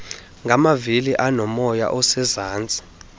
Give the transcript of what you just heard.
ngamavili aonomoya osezantsi